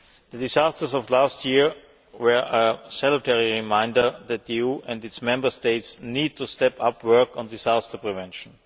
The disasters of last year were a salutary reminder that the EU and its Member States need to step up work on disaster prevention.